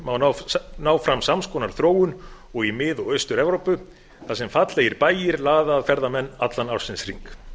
má ná fram sams konar þróun og í mið og austur evrópu þar sem fallegir bæir laða að ferðamenn allan ársins hring